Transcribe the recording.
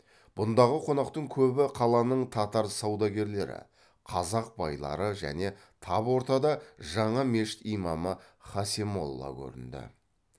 бұндағы қонақтың көбі қаланың татар саудагерлері қазақ байлары және тап ортада жаңа мешіт имамы хасен молла көрінді